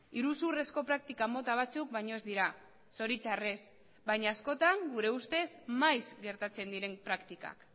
iruzurrezko praktika mota batzuk baino ez dira zoritxarrez baina askotan gure ustez maiz gertatzen diren praktikak